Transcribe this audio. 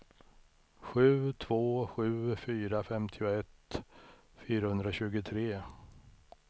sju två sju fyra femtioett fyrahundratjugotre